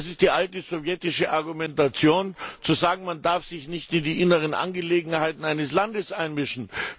Das ist die alte sowjetische Argumentation, zu sagen, man dürfe sich nicht in die inneren Angelegenheiten eines Landes einmischen.